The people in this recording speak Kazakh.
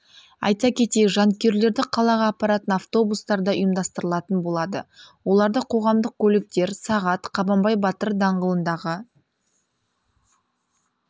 айта кетейік жанкүйерлерді қалаға апаратын автобустар да ұйымдастырылатын болады оларды қоғамдық көліктер сағат қабанбай батыр даңғылындағы